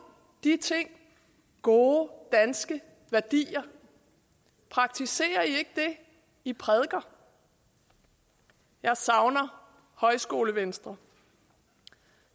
de ting gode danske værdier praktiserer i ikke det i prædiker jeg savner højskolevenstre